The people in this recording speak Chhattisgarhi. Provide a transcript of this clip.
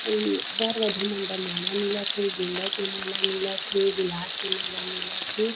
और वर-वधु मन बर के माला मिलत थे गेंदा के माला मिलत थे गुलाब के माला मिलत थे।